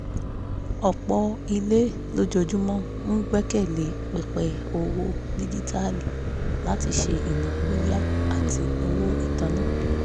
ọ̀pọ̀ ilé lójoojúmọ́ ń gbẹ́kẹ̀ lé pẹpẹ owó díjíítàálì láti ṣe ináwó yá àti owó itanna